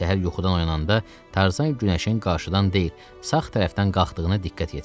Səhər yuxudan oyananda Tarzan günəşin qarşıdan deyil, sağ tərəfdən qalxdığına diqqət yetirdi.